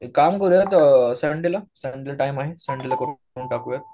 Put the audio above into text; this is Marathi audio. काम करूया संडेला. संडेला टाईम आहे करून टाकू.